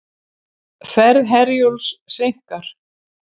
Ferð Herjólfs seinkar